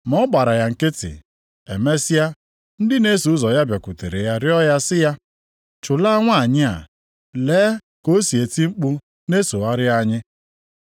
Ma ọ gbara ya nkịtị. Emesịa ndị na-eso ụzọ ya bịakwutere ya rịọ ya sị ya, “Chụlaa nwanyị a! Lee ka o si eti mkpu na-esogharị anyị!”